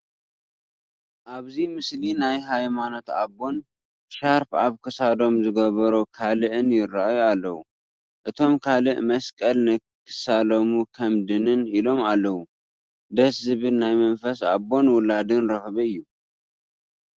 ኣብዚ ምስሊ ናይ ሃይማኖት ኣቦን ሻርፕ ኣብ ክሳዶም ዝገበሩ ካልእን ይርአዩ ኣለዉ፡፡ እቶም ካልእ መስቀል ንክሳለሙ ከም ድንን ኢሎም ኣለዉ፡፡ ደስ ዝብል ናይ መንፈስ ኣቦን ውላድን ረኽቢ እዩ፡፡